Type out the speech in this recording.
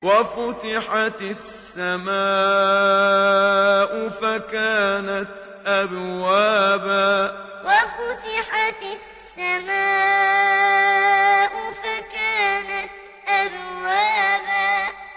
وَفُتِحَتِ السَّمَاءُ فَكَانَتْ أَبْوَابًا وَفُتِحَتِ السَّمَاءُ فَكَانَتْ أَبْوَابًا